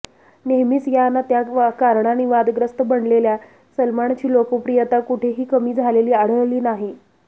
नेहमीच या ना त्या कारणांनी वादग्रस्त बनलेल्या सलमानची लोकप्रियता कुठेही कमी झालेली आढळली नाही